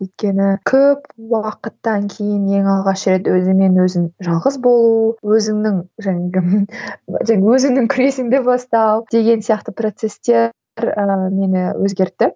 өйткені көп уақыттан кейін ең алғаш рет өзіңмен өзің жалғыз болу өзіңнің және де тек өзіңнің күресіңді бастау деген сияқты процестер ыыы мені өзгертті